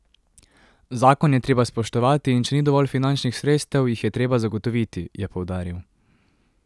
Zakon je treba spoštovati in če ni dovolj finančnih sredstev, jih je treba zagotoviti, je poudaril.